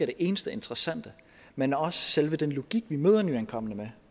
det eneste interessante men også selve den logik vi møder nyankomne med